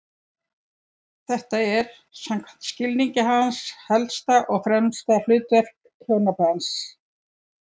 Þetta er, samkvæmt skilningi hans, helsta og fremsta hlutverk hjónabandsins.